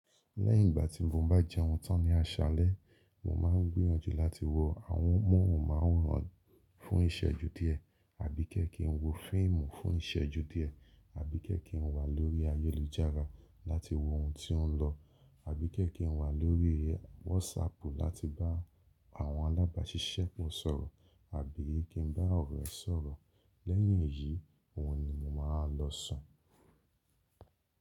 Lẹ́yìn ìgbà tí mo bá jẹun tán ní aṣalẹ, mo máa ń gbìyànjú láti wo àmohunmaworan fún ìsẹ́ju díẹ̀ àbí kẹ ki ń wo fíìmù fún ìsẹ́ju díẹ̀ àbí kẹ̀ ki ń wà lórí ayélujára láti wo ohun tí ó ń lọ àbí kẹ̀ ki ń wà lórí WhatsApp láti bá àwọn alábàṣiṣẹ́po sọ̀rọ̀ àbí kí n bá ọ̀rẹ́ sọ̀rọ̀. Lẹ́yìn èyií, òhun ni mo máa wa lọ sùn.